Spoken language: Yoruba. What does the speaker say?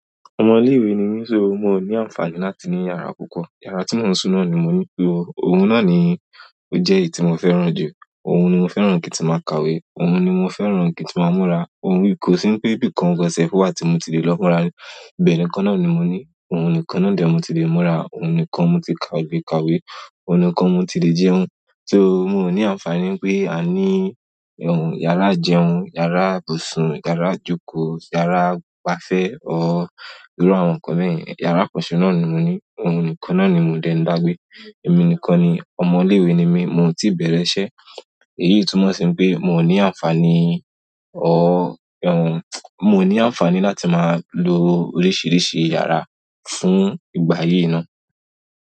Ọmọ ilé-ìwé ni mí, ṣo mo ní àǹfààní láti ní yàrá púpọ̀. Yàrá tí mo ń sùn náà ni mo ní pè o. Òun náà ni ó jẹ́ èyí tí mo fẹ́ràn jù. Ohun ni mo fẹ́ràn ki n ti maa ka ìwé. Òun ni mo fẹ́ràn kí n ti máa múra. Òun ni, kò sí pẹ́ ibì kan gan sefu wa tí mo ti lè lọ múra. Ìbẹ̀ nìkan náà ni mo ní. Òun nìkan náà de ni mo ti lè múra. Òun nìkan mo ti kàwé lè ka kàwé. Òun nìkan mo ti lè jẹun. Só mi o ní àǹfààní pé a ní ohun, yàrá jẹun, yàrá ìbùsùn, yàrá ìjókòó, yàrá ìgbafẹ́ ọ irú àwọn nǹkan mẹ́ẹ̀níì. Yàrá kan sì náà ni mo ní. Emi nìkan náà ni mò ń dé ń dàgbé. Èmi nìkan ni, ọmọ ilé-ìwé ni mí, mo ti bẹ̀rẹ̀ iṣẹ́. Èyí tún mọ̀ sí pé mi o ní àǹfààní o ohun, mo ní àǹfààní láti máa lo oríṣiríṣi yàrá fún ìgbà yìí náà.